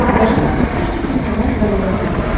покажи на смотрешке телеканал здоровое тв